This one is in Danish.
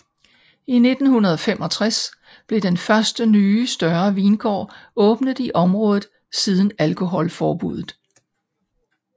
I 1965 blev den første nye større vingård åbnet i området siden alkoholforbudet